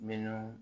Minnu